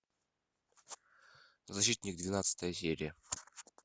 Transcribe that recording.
защитник двенадцатая серия